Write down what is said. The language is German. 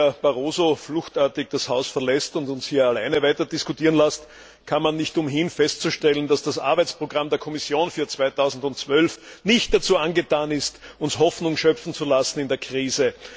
Auch wenn Herr Barroso fluchtartig das Haus verlässt und uns hier alleine weiter diskutieren lässt, kann man nicht umhin festzustellen, dass das Arbeitsprogramm der Kommission für 2012 nicht dazu angetan ist, uns Hoffnung schöpfen zu lassen in der Krise.